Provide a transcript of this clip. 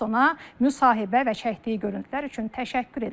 Biz ona müsahibə və çəkdiyi görüntülər üçün təşəkkür edirik.